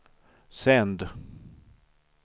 sänd